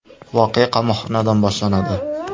Voqea qamoqxonadan boshlanadi.